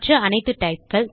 மற்ற அனைத்து typeகள்